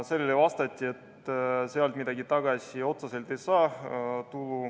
Sellele vastati, et sealt midagi tagasi otseselt ei saa.